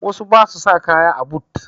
Wasu ba su sa kaya a but